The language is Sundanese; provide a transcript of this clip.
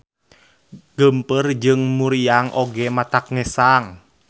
Geumpeur jeung muriang oge matak ngesang.